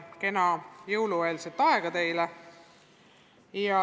Kena jõulueelset aega teile!